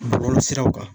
Bɔlɔlɔsiraw kan